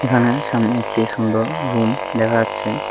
এখানে সামনে একটি সুন্দর রুম দেখা যাচ্ছে।